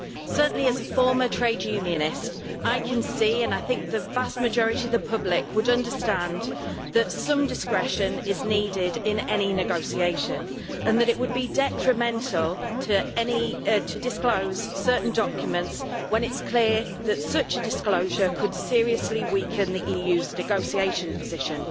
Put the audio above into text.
Certainly, as a former trade unionist, I can see and I think the vast majority of the public would understand that some discretion is needed in any negotiation, and that it would be detrimental to disclose certain documents when it is clear that such a disclosure could seriously weaken the EU's negotiating position.